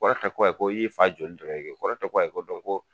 kɔrɔ ye ko ayi ko i y'i fa joli dɔrɔn ye dɛ kɔrɔ tɛ ko ayi ko ko